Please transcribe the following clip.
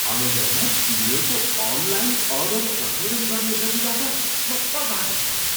अमेजनमा तिनीहरूको online order प्रशोधन गर्ने गतिबाट म प्रभावित भएँ।